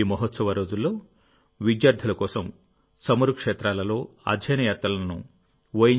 ఈ మహోత్సవ రోజుల్లోవిద్యార్థుల కోసం చమురు క్షేత్రాలలో అధ్యయన యాత్రలను ఓ